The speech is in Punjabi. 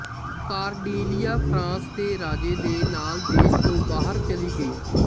ਕਾਰਡੀਲੀਆ ਫ਼ਰਾਂਸ ਦੇ ਰਾਜੇ ਦੇ ਨਾਲ ਦੇਸ਼ ਤੋਂ ਬਾਹਰ ਚਲੀ ਗਈ